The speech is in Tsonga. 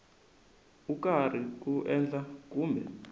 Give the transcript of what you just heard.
u karhi ku endla kumbe